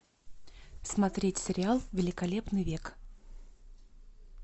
смотреть сериал великолепный век